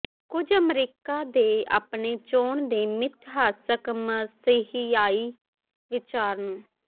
ਕੁਝ ਅਮਰੀਕਾ ਦੇ ਆਪਣੇ ਚੋਣ ਦੇ ਮਿਥਿਹਾਸਿਕ ਮਸੀਹਾਈ ਵਿਚਾਰ ਨੂੰ